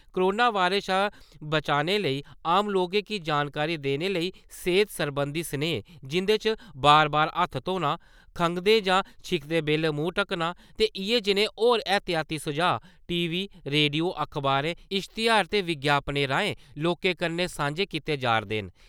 Corona virus शा बचाने लेई आम लोकें गी जानकारी देने लेई सेह्त सरबंधी स्नेह जिंदे च बार-बार हत्थ धोह्‌ना, खगंदे जां छिक्कदे बैल्ले मुंह ढकना ते इ'यै जनेह् होर एह्तियाती सुझाऽ टी.वी., रेडियो, अखबार, इश्तयार ते बिज्ञापनें राएं लोकें कन्नै सांझे कीते जा 'रदे न ।